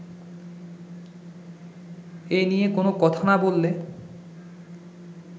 এনিয়ে কোনো কথা না বললে